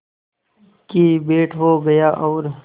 की भेंट हो गया और